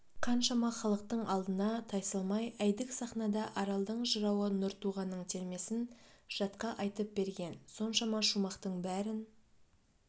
қаншама халықтың алдына тайсалмай әйдік сахнада аралдың жырауы нұртуғанның термесін жатқа айтып берген соншама шумақтың бәрін